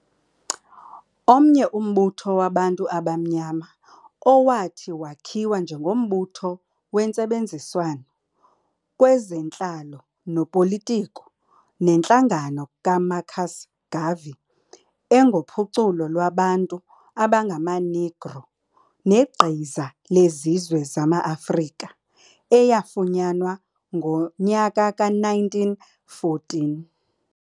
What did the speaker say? Omnye umbutho wabantu abamnyama owathi wakhiwa njengombutho wentsebenziswano kwezentlalo nopolitiko neNtlangano kaMarcus Garvey engophuculo lwabantu abangama-Negro negqiza lazizwe zamaAfrika, eyafunyanwa ngo-1914.